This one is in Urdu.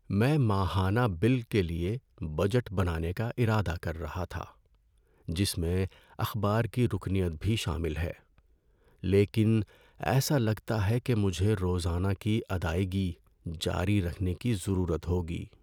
میں ماہانہ بل کے لیے بجٹ بنانے کا ارادہ کر رہا تھا، جس میں اخبار کی رکنیت بھی شامل ہے، لیکن ایسا لگتا ہے کہ مجھے روزانہ کی ادائیگی جاری رکھنے کی ضرورت ہوگی۔